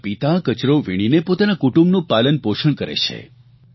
તેમના પિતા કચરો વીણીને પોતાના કુટુંબનું પાલનપોષણ કરે છે